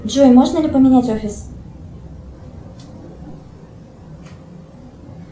джой можно ли поменять офис